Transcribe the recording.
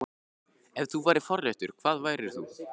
Ef þú værir forréttur, hvað værir þú?